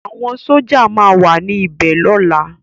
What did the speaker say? Awòn Sójá má wà ni bè lòlá